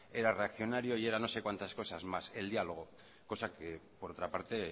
era reaccionario y era no sé cuántas cosas más el diálogo cosa que por otra parte